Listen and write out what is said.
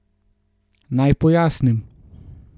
Naj pojasnim.